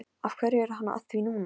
Af hverju er hann að því núna?